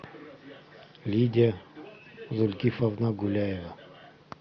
лидия зулькифовна гуляева